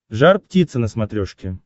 жар птица на смотрешке